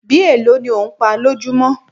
Bí èlò ní ò ń pá lójumo?